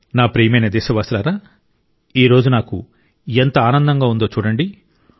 నా ప్రియమైన దేశవాసులారా ఈ రోజు నాకు ఎంత ఆనందంగా ఉందో చూడండి